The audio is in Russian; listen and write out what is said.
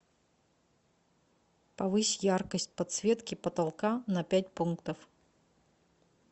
повысь яркость подсветки потолка на пять пунктов